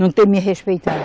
Não ter me respeitado.